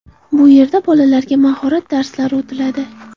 Bu yerda bolalarga mahorat darslari o‘tiladi.